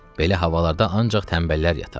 Belə havalarda ancaq tənbəllər yatar.